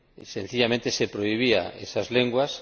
Sencillamente, se prohibían esas lenguas.